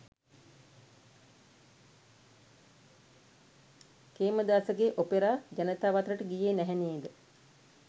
කේමදාසගේ opera ජනතාව අතරට ගියේ නැහැ නේද.